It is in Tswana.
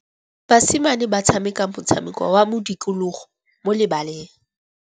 Basimane ba tshameka motshameko wa modikologô mo lebaleng.